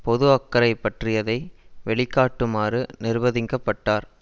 பொது அக்கறை பற்றியதை வெளிக்காட்டுமாறு நிர்பதிக்கப்பட்டார்